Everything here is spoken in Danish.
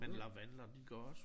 Men lavendler de går også